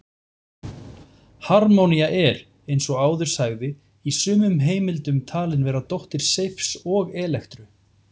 Harmonía er, eins og áður sagði, í sumum heimildum talin vera dóttir Seifs og Elektru.